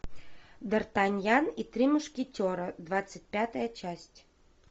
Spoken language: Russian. дартаньян и три мушкетера двадцать пятая часть